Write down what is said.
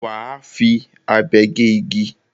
Wà á fi abe gé igi.